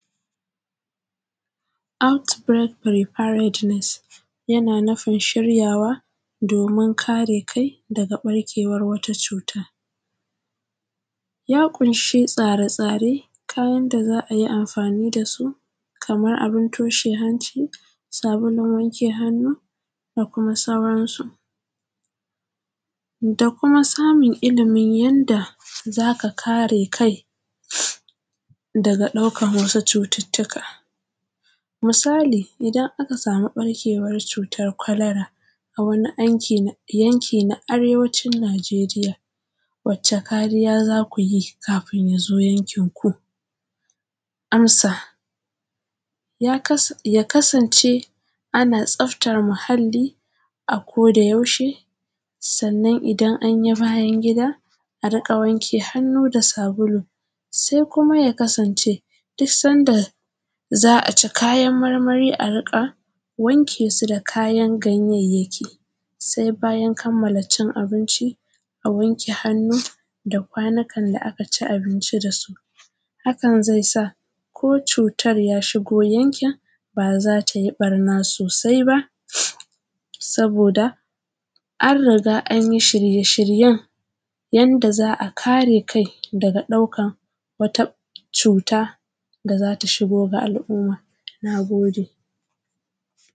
outbreak preparedness yana nufin shiryawa domin kare kai daga ɓarkewar wata cuta ya ƙunshi tsare-tsare kayan da za ayi amfani dasu kamar abun toshe hanci sabulun wanke hannu da kuma sauran su da kuma samun ilmin yanda zaka kare kai daga ɗaukan wasu cututtuka misali idan aka samu ɓarkewar cutar kwalara a wani yanki na arewacin nijeriya wacce kariya zakuyi kafin yazo yankin ku amsa ya kasance ana tsaftar muhalli a koda yaushe sannan idan anyi bayan gida a riƙa wanke hannu da sabulu sai kuma ya kasance duk sanda za ci kayan marmari a riƙa wanke su da kayan ganyayyaki sai bayan kamala cin abinci a wanke hannu da kwanikan da aka ci abinci dasu hakan zai sa ko cutar ya shigo yankin ba zatayi ɓarna sosai ba saboda an riga anyi shirye-shiryen yanda za a kare kai daga ɗaukan wata cuta da zata shigo ga al’umma na gode